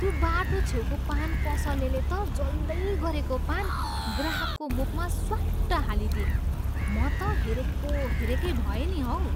त्यो बाटो छेउको पान पसलेले त जल्दैगरेको पान ग्राहकको मुखमा स्वाट्ट हालिदिए। म त हेरेको हेरेकै भएँ नि हौ।